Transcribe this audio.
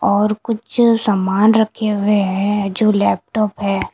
और कुछ सामान रखे हुए है जो लैपटॉप है।